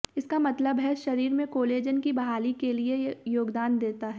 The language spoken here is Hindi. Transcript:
इसका मतलब है शरीर में कोलेजन की बहाली के लिए योगदान देता है